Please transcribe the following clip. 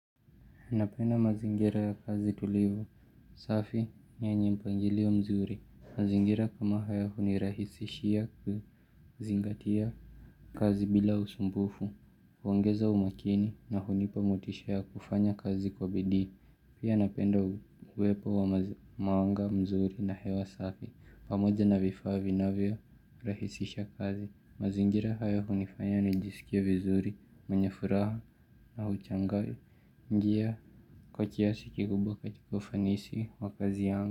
Napenda mazingira ya kazi tulivu, safi yenye mpangili wa mzuri, mazingira kama haya hunirahisishia kuzingatia kazi bila usumbufu, huongeza umakini na hunipa motisha ya kufanya kazi kwa bidii, pia napenda uwepo wa mawanga mzuri na hewa safi, pamoja na vifaa vinavyo rahisisha kazi. Mazingira haya hunifanyani jiskie vizuri, mwenya furaha, nahuchangari, ngia, kwa kiasi ki kubwa ka ti ka ufanisi, waka zi yangu.